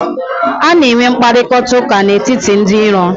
A na-enwe mkparịkọtaụka n'etiti ndị iro.